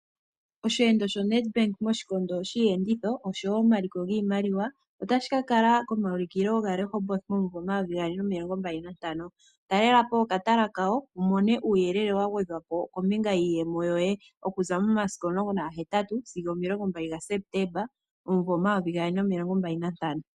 Osheendo shoNedbank moshikondo shiiyenditho noshowo omaliko giimaliwa otashi ka kala komaulukilo gaRehoboth momayovi gaali nomilongombali nantano. Talela po okatala kawo wu mone uuyelele wa gwedhwa kombinga yiiyemo yoye. Okuza mo 18 sigo 20 Septemba 2025.